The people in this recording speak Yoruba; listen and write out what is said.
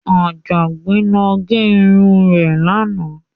Àjàgbé lọ gẹ irun rẹ̀ lánàá.